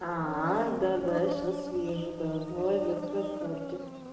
аа да-да сейчас съезжу да молодец красавчик